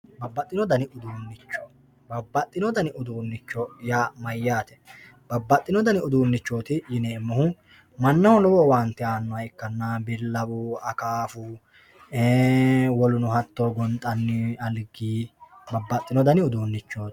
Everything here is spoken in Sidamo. Babaxxino danni uduunicho babaxino dani uduunicho yaa mayyate, babaxxino dani uduunichoti yineemohu manaho lowo owaante aanoha ikkanna, bikawu akkaffu, woluno hato ganxani aligi babaxino dani uduunichoti